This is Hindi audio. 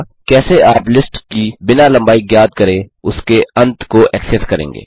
3कैसे आप लिस्ट की बिना लम्बाई ज्ञात करे उसके अंत को एक्सेस करेंगे